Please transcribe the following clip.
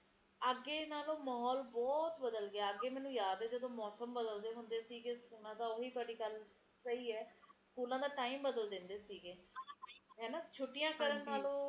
ਪਰ ਘਰਾਂ ਦੇ ਅੰਦਰ ਕਹਿੰਦੇ ਮੌਸਮ ਬਹੁਤ ਵਧੀਆ ਰਹਿੰਦਾ ਹੈ ਹੀਟਰ ਦਾ ਓਹਨਾ ਨੇ ਸਾਰਾ ਕੀਤਾ ਹੋਇਆ ਸਿਸਟਮ ਸਬ ਅੰਦਰ ਹੀ ਘਰਾਂ ਚ ਸਰਕਾਰ ਨੇ ਬਹੁਤ ਵਧੀਆ ਕਹਿੰਦੇ ਘਰ ਚ ਨਾ ਸਰਦੀ ਹੈ